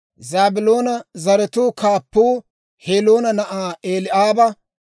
Zaabiloona zaratuu kaappuu Heloona na'aa Eli'aaba.